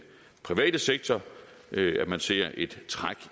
private sektor at man ser et træk